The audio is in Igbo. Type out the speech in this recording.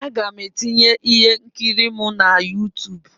Aga m etinye ihe nkiri m na YouTube.